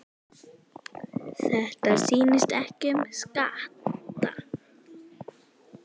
Þetta snýst ekki um skatta.